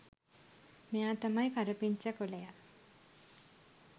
මෙයා තමයි කරපිංචා කොළයා